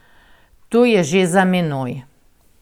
To je že za menoj.